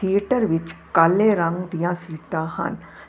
Theatre ਵਿੱਚ ਕਾਲੇ ਰੰਗ ਦੀਆਂ ਸੀਟਾਂ ਹਨ।